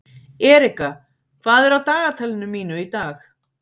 Erika, hvað er á dagatalinu mínu í dag?